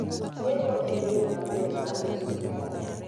Chweko en yoo maber mar loso salad